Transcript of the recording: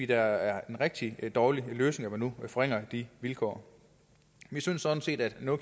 er en rigtig dårlig løsning at man nu vil forringe de vilkår vi synes sådan set at no